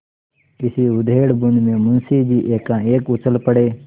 इसी उधेड़बुन में मुंशी जी एकाएक उछल पड़े